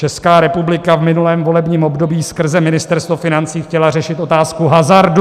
Česká republika v minulém volebním období skrze Ministerstvo financí chtěla řešit otázku hazardu.